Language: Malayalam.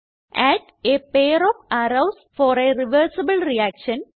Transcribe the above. add a pair of arrows for a reversible reaction